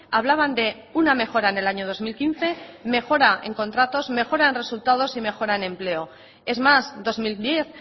hablaban de una mejora en el año dos mil quince mejora en contratos mejora en resultados y mejora en empleo es más dos mil diez